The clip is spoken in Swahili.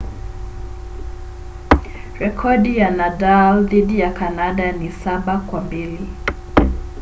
rekodi ya nadal dhidi ya kanada ni 7-2